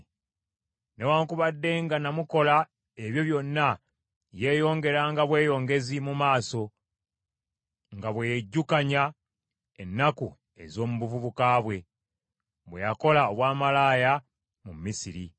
Newaakubadde nga namukola ebyo byonna, yeeyongeranga bweyongezi mu maaso, nga bwe yejjukanya ennaku ez’omu buvubuka bwe, bwe yakola obwamalaaya mu Misiri,